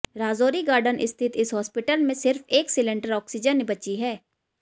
Rajouri garden स्थित इस hospital में सिर्फ एक सिलेंडर ऑक्सीजन बची है